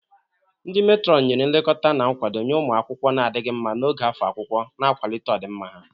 Ndi Meetron nyere nlekọta na nkwado nye ụmụ akwụkwọ na-adịghị mma n'oge afọ akwụkwọ, na-akwalite ọdịmma ha.